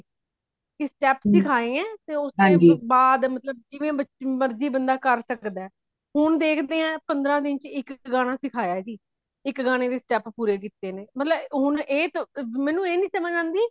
ਕੀ step ਸਿਖਾਏ ਹੇ ਤੇ ਉਸਦੇ ਬਾਦ ਜਿਵੇ ਮਰਜੀ ਬੰਦਾ ਕਾਰ ਸਕਦਾ ਹੈ। ਹੋਣ ਦੇਖਦੇ ਆ ਪੰਦ੍ਹਰਾ ਦਿਨ ਵਿਚ ਇਕ ਗਾਣਾ ਸਿਖਾਯਾ ਜੀ ਇਕ ਗਾਣੇ ਦੇ step ਪੂਰੇ ਕੀਤੇ ਨੇ ਮਤਲਬ ਹੁਣ ਮੇਨੂ ਇਹ ਨਹੀਂ ਸਮਜ ਆਉਂਦੀ